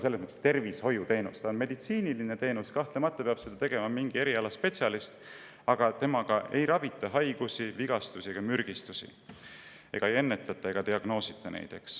See on meditsiiniline teenus, kahtlemata peab seda tegema mingi erialaspetsialist, aga sellega ei ravita haigusi, vigastusi ega mürgistusi, ei ennetata ega diagnoosita neid.